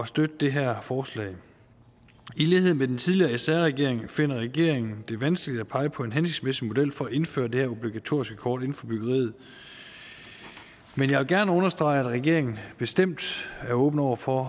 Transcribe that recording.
støtte det her forslag i lighed med den tidligere sr regering finder regeringen det vanskeligt at pege på en hensigtsmæssig model for at indføre det her obligatoriske kort inden for byggeriet men jeg vil gerne understrege at regeringen bestemt er åben over for